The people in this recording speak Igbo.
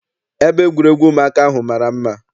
Ebe egwuregwu ụmụaka ahụ mara mma.